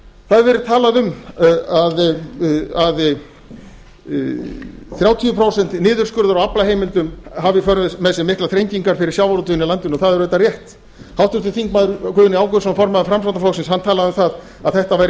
það hefur verið talað um að þrjátíu prósent niðurskurður á aflaheimildum hafi í för með sér miklar þrengingar fyrir sjávarútveginn í landinu og það er auðvitað rétt háttvirtur þingmaður guðni ágústsson formaður framsóknarflokksins talaði um að þetta væri